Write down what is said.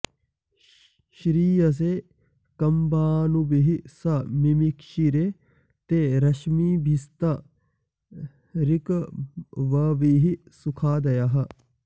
श्रि॒यसे॒ कंभा॒नुभिः॒ सं मि॑मिक्षिरे॒ ते र॒श्मिभि॒स्त ऋक्व॑भिः सुखा॒दयः॑